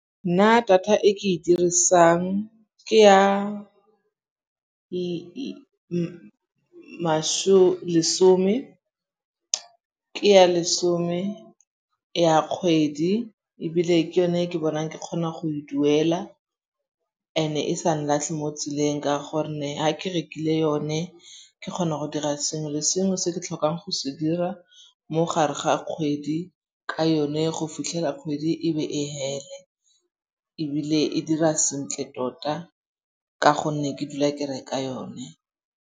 Nna data e ke e dirisang ke ya lesome ya kgwedi. Ebile ke yone e ke bonang ke kgona go e duela and-e e sa nlatlhe mo tseleng ka gonne ha ke rekile yone ke kgona go dira sengwe le sengwe se ke tlhokang go se dira mo gare ga kgwedi ka yone go fitlhela kgwedi e be e fele. Ebile e dira sentle tota ka gonne ke dula ke reka yone.